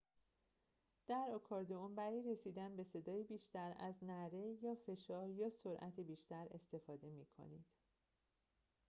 در آکاردئون برای رسیدن به صدای بیشتر از نعره با فشار یا سرعت بیشتر استفاده می کنید